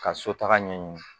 Ka sotarama ɲɛ ɲini